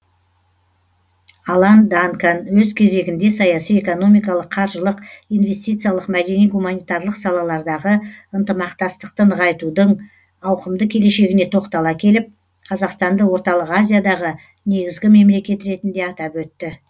алан данкан өз кезегінде саяси экономикалық қаржылық инвестициялық мәдени гуманитарлық салалардағы ынтымақтастықты нығайтудың ауқымды келешегіне тоқтала келіп қазақстанды орталық азиядағы негізгі мемлекет ретінде атап өтті